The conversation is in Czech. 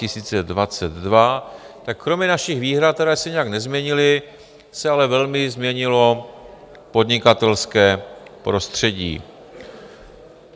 Tak kromě našich výhrad, které se nijak nezměnily, se ale velmi změnilo podnikatelské prostředí.